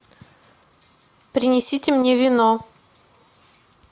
принесите мне вино